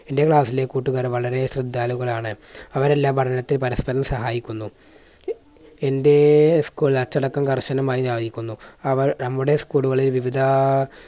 എൻറെ class ലെ കൂട്ടുകാർ വളരെ ശ്രദ്ധാലുക്കളാണ്. അവരെല്ലാം പഠനത്തിൽ പരസ്പരം സഹായിക്കുന്നു. എൻറെ school അച്ചടക്കം കർശനമായി പാലിക്കുന്നു. അവർ നമ്മുടെ school കളിൽ വിവിധ